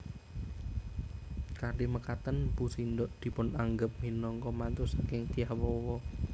Kanthi mekaten Mpu Sindok dipunanggep minangka mantu saking Dyah Wawa